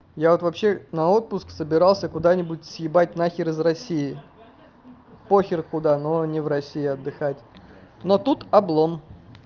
я вот вообще на отпуск собирался куда-нибудь съебать нахер из россии похер куда но не в россии отдыхать но тут облом